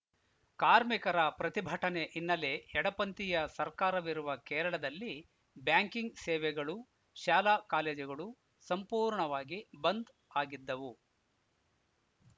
ಕಾರ್ಮಿಕರ ಪ್ರತಿಭಟನೆ ಹಿನ್ನೆಲೆ ಎಡಪಂಥೀಯ ಸರ್ಕಾರವಿರುವ ಕೇರಳದಲ್ಲಿ ಬ್ಯಾಂಕಿಂಗ್‌ ಸೇವೆಗಳು ಶಾಲಾಕಾಲೇಜುಗಳು ಸಂಪೂರ್ಣವಾಗಿ ಬಂದ್‌ ಆಗಿದ್ದವು